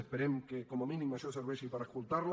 esperem que com a mínim això serveixi per escoltar la